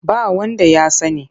Ba wanda ya sani.